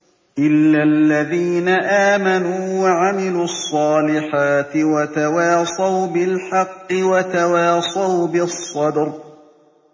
إِلَّا الَّذِينَ آمَنُوا وَعَمِلُوا الصَّالِحَاتِ وَتَوَاصَوْا بِالْحَقِّ وَتَوَاصَوْا بِالصَّبْرِ